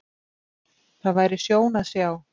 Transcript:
Það væri sjón að sjá.